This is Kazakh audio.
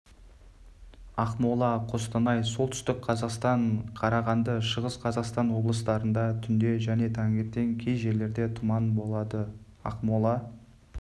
ақмола қостанай солтүстік қазақстан қарағанды шығыс қазақстан облыстарында түнде және таңертең кей жерлерде тұман болады ақмола